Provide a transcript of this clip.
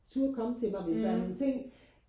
turde komme til mig hvis der er nogle ting